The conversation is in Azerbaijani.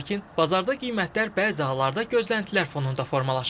Lakin bazarda qiymətlər bəzi hallarda gözləntilər fonunda formalaşır.